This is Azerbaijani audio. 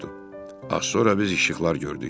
Az sonra biz işıqlar gördük.